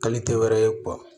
Hali tɛ wɛrɛ ye